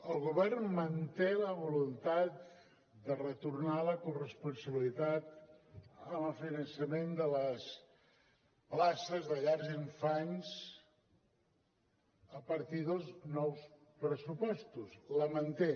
el govern manté la voluntat de retornar la corresponsabilitat en el finançament de les places de llars d’infants a partir dels nous pressupostos la manté